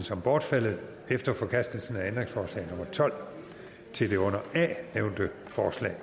som bortfaldet efter forkastelsen af ændringsforslag nummer tolv til det under a nævnte forslag